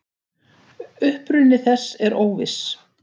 Uppruni þess er óviss.